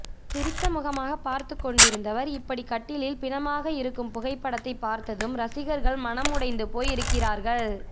சிரித்த முகமாக பார்த்துக் கொண்டிருந்தவர் இப்படி கட்டிலில் பிணமாக இருக்கும் புகைப்படத்தை பார்த்ததும் ரசிகர்கள் மனது உடைந்து போய் இருக்கிறார்கள்